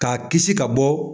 K'a kisi ka bɔ